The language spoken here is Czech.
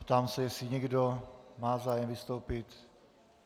Ptám se, jestli někdo má zájem vystoupit.